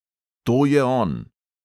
"To je on!"